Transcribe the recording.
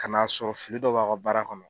Kana'a sɔrɔ fili dɔ b'a ka baara kɔnɔ